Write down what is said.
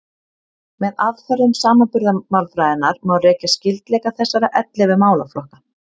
Með aðferðum samanburðarmálfræðinnar má rekja skyldleika þessara ellefu málaflokka.